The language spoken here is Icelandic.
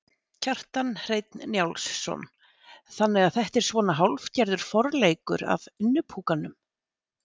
Kjartan Hreinn Njálsson: Þannig að þetta er svona hálfgerður forleikur að Innipúkanum?